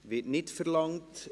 Das Wort wird nicht verlangt.